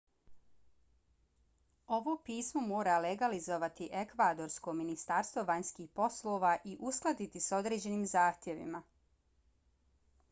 ovo pismo mora legalizovati ekvadorsko ministarstvo vanjskih poslova i uskladiti s određenim zahtjevima